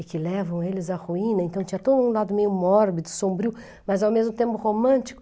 e que levam eles à ruína, então tinha todo um lado meio mórbido, sombrio, mas ao mesmo tempo romântico.